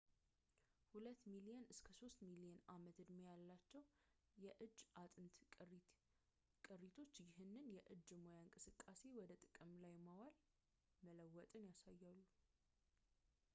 ሁለት ሚሊዮን እስከ ሶስት ሚሊዮን ዓመት ዕድሜ ያላቸው የእጅ አጥንት ቅሪቶች ይህን የእጅ ሙያ ከእንቅስቃሴ ወደ ጥቅም ላይ ማዋል መለወጥን ያሳያሉ